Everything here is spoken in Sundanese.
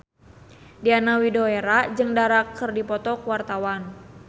Diana Widoera jeung Dara keur dipoto ku wartawan